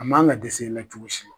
A m'an ka ka dɛsɛ i la cogo si.